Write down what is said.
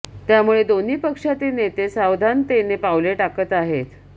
त्यामुळे दोन्ही पक्षातील नेते सावधानतेने पावले टाकत आहेत